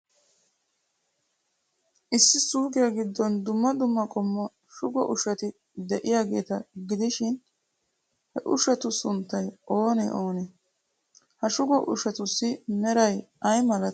Issi suuqiya giddon dumma dumma qommo shugo ushshati de'iyaageeta gidishin, he ushshatu sunttay oonee oonee? Ha shugo ushshatussi meray ay malatii?